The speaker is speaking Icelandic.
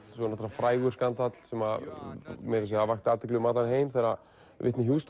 náttúrlega frægur skandall sem vakti athygli um allan heim þegar